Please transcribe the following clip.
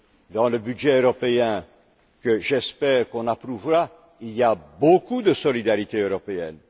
Dans le budget européen que, j'espère, on approuvera, il y a beaucoup de solidarité européenne.